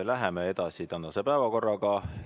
Läheme edasi tänase päevakorraga.